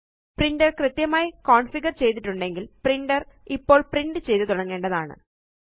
printer കൃത്യമായി configure ചെയ്തിട്ടുണ്ടെങ്കില് printer ഇപ്പോള് പ്രിന്റ് ചെയ്ത് തുടങ്ങേണ്ടതാണ്